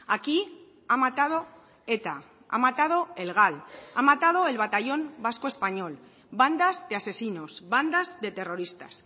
aquí ha matado eta ha matado el gal ha matado el batallón vasco español bandas de asesinos bandas de terroristas